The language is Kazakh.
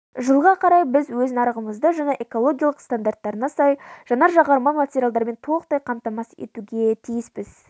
жылға қарай біз өз нарығымызды жаңа экологиялылық стандарттарына сай жанар-жағармай материалдармен толықтай қамтамасыз етуге тиіспіз